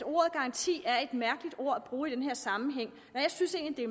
ordet garanti er et mærkeligt ord at bruge i den her sammenhæng og jeg synes egentlig